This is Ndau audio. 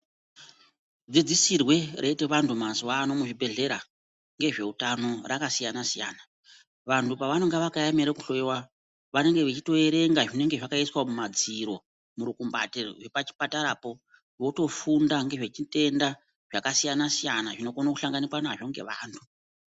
Dzidzisirwe reitwa vantu mazuwano muzvibhedhleya ngezveutano rakasiyana siyana vantu pavanenge vakaemere kuhloyiwa vanenge vechitoverenga zvinenge zvakaiswa mumadziro murukumbati rwuri pachipatarapo votofunda ngezvezvitenda zvakasiyana siyana zvinokona kusanganikwa nazvo ngevantu.